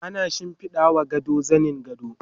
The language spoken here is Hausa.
ana shimfiɗawa gado zanin gado